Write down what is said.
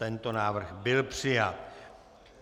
Tento návrh byl přijat.